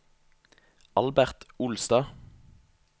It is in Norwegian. Albert Olstad